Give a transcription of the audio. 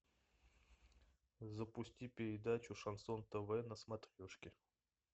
запусти передачу шансон тв на смотрешке